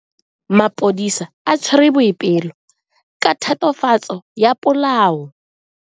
Maphodisa a tshwere Boipelo ka tatofatso ya polao.